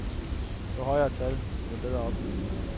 Jo højere tal, jo bedre opløsning.